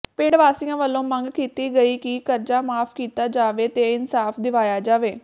ਪਿੰਡ ਵਾਸੀਆਂ ਵੱਲੋਂ ਮੰਗ ਕੀਤੀ ਗਈ ਕਿ ਕਰਜ਼ਾ ਮਾਫ਼ ਕੀਤਾ ਜਾਵੇ ਤੇ ਇਨਸਾਫ਼ ਦਿਵਾਇਆ ਜਾਵੇ